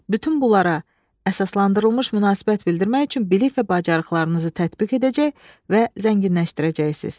Bütün bunlara əsaslandırılmış münasibət bildirmək üçün bilik və bacarıqlarınızı tətbiq edəcək və zənginləşdirəcəksiniz.